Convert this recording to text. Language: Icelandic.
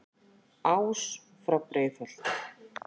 ás frá breiðholti